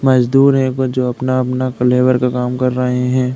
मजदूर है वो जो अपना-अपना कलेवर का काम कर रहे हैं।